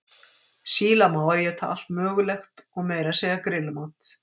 Sílamávar éta allt mögulegt og meira að segja grillmat.